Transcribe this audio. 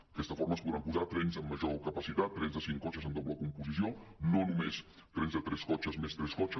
d’aquesta forma es podran posar trens amb major capacitat trens de cinc cotxes amb doble composició no només trens de tres cotxes més tres cotxes